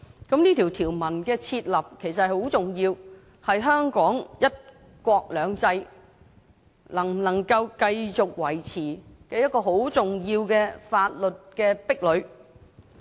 這項條文的訂立其實很重要，是香港的"一國兩制"能否繼續維持的一個很重要的法律壁壘。